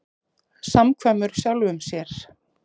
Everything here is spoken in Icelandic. Samkvæmur sjálfum sér.